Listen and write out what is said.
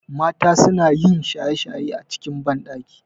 Mata sunayin shaye shaye a cikin banɗaki